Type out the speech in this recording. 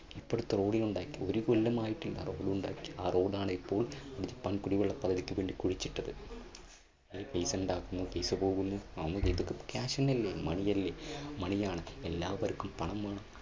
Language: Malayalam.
എത്ര ഉണ്ടാക്കി ഒരു കൊല്ലമായിട്ട് road ണ്ടാക്കി. ആ road ണ് ഇപ്പോൾ ജപ്പാൻ കുടിവെള്ള പദ്ധതിക്ക് വേണ്ടി കുഴിച്ചിട്ടത് ഇതൊക്കെ cash തന്നെയല്ലേ, money യല്ലേ? money യാണ് എല്ലാവർക്കും പണം വേണം